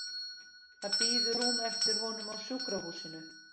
Það bíður rúm eftir honum á sjúkrahúsinu.